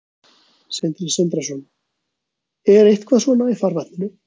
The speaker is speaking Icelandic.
Sindri Sindrason: Er eitthvað svona í farvatninu?